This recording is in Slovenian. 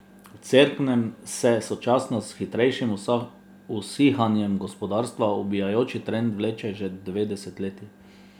V Cerknem se, sočasno s še hitrejšim usihanjem gospodarstva, ubijajoči trend vleče že dve desetletji.